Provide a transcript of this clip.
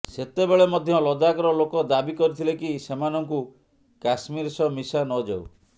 ସେତେବେଳେ ମଧ୍ୟ ଲଦାଖର ଲୋକ ଦାବି କରିଥିଲେ କି ସେମାନଙ୍କୁ କାଶ୍ମୀର ସହ ମିଶା ନଯାଉ